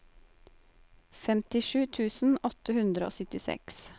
femtisju tusen åtte hundre og syttiseks